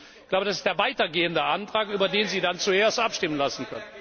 Ich glaube, das ist der weitergehende Antrag, über den Sie dann zuerst abstimmen lassen können.